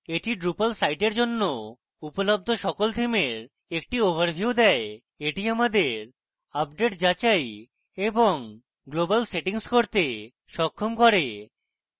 এটি drupal সাইটের জন্য উপলব্ধ সকল থিমের একটি overview দেয় এটি আমাদের আপডেট যাচাই এবং global সেটিংস করতে সক্ষম করে